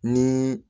Ni